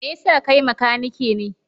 Me yasa kai makanike ne?